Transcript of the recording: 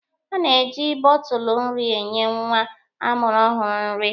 A na-eji bọtụlụ nri enye nwa a mụrụ ọhụrụ nri.